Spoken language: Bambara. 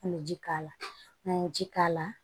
An bɛ ji k'a la n'an ye ji k'a la